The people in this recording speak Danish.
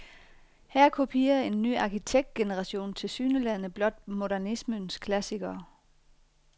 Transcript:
Her kopierer en ny arkitektgeneration tilsyneladende blot modernismens klassikere.